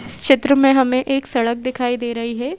चित्र में हमे एक सड़क दिखाई दे रही है।